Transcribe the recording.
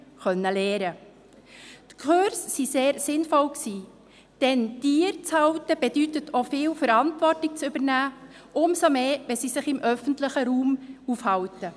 Diese Kurse waren sehr sinnvoll, denn Tiere zu halten, bedeutet auch viel Verantwortung zu übernehmen, umso mehr wenn sie sich im öffentlichen Raum aufhalten.